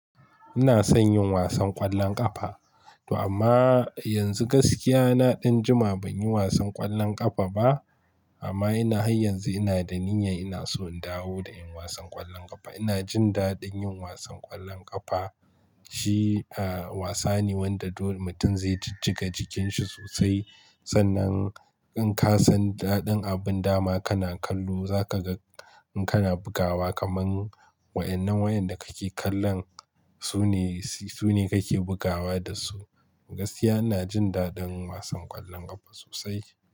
Ina son yin wasan ƙwallon ƙafa, to amma yanzu gaskiya na ɗan juma ban yi wasan ƙwallon ƙafa ba. Amma ina har yanzu ina da niyya ina so in dawo da yin wasan ƙwallon ƙafa. Ina jin daɗin yin wasan ƙwallon ƙafa. Shi, ah, wasa ne wanda dole mutum zai jijjiga jikin shi sosai. Sannan in ka san daɗin abin dama kana kallo, za ka ga in kana bugawa kamar waɗannan wayanda kake kallon su ne, su ne kake bugawa da su. Gaskiya ina jin daɗin wasan ƙwallon ƙafa sosai.